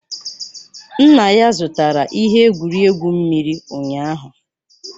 Nna ya zụtara ihe egwuregwu mmiri ụnyaahụ